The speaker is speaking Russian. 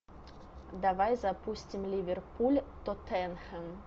давай запустим ливерпуль тоттенхэм